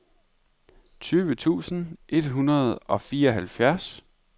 tyve tusind et hundrede og fireogfirs